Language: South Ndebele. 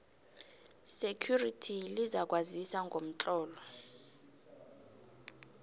security lizakwazisa ngomtlolo